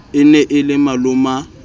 e ne e le maloma